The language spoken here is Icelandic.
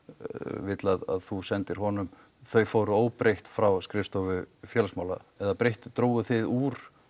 vill að þú sendir honum þau fóru óbreytt frá skrifstofu félagsmála eða dróguð þið úr